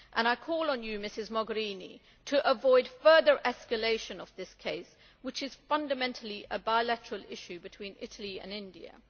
I call on Ms Mogherini to avoid further escalation of this case, which is fundamentally a bilateral issue between Italy and India.